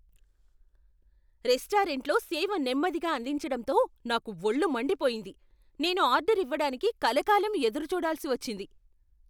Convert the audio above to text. రెస్టారెంట్లో సేవ నెమ్మదిగా అందించడంతో నాకు వొళ్ళు మండిపోయింది! నేను ఆర్డర్ ఇవ్వడానికి కలకాలం ఎదురుచూడాల్సి వచ్చింది.